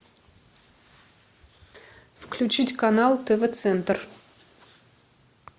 включить канал тв центр